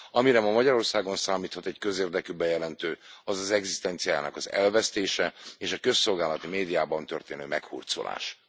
Amire ma Magyarországon számíthat egy közérdekű bejelentő, az az egzisztenciájának az elvesztése és a közszolgálati médiában történő meghurcolás.